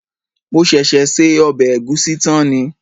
Mo ṣẹ̀ṣẹ̀ se ọbẹ̀ ẹ̀gúsí tán ni